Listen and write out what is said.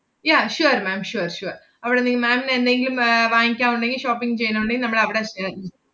yeah sure ma'am sure sure അവടെ നി~ ma'am ന് എന്തെങ്കിലും ഏർ വാങ്ങിക്കാ~ ഒണ്ടെങ്കി shopping ചെയ്യാനൊണ്ടെ~ നമ്മളവടെ ഏർ